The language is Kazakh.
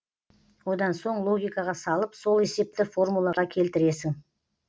одан соң логикаға салып сол есепті формулаға келтіресің